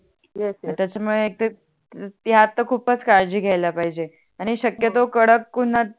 त्याच्यामूळे एक ते ते आता खूपच काळजी घ्याला पाहिजे आणि शक्यतो कडक उनात